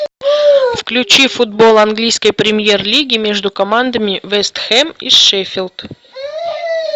включи футбол английской премьер лиги между командами вест хэм и шеффилд